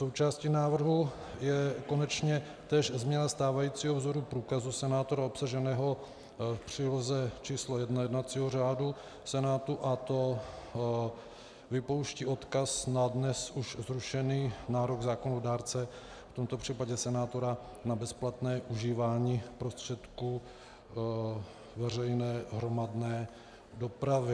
Součástí návrhu je konečně též změna stávajícího vzoru průkazu senátora obsaženého v příloze číslo 1 jednacího řádu Senátu, a to vypouští odkaz na dnes už zrušený nárok zákonodárce, v tomto případě senátora, na bezplatné užívání prostředků veřejné hromadné dopravy.